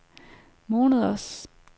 måneders